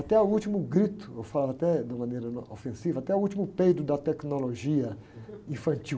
Até o último grito, eu falo até de maneira ofensiva, até o último peido da tecnologia infantil.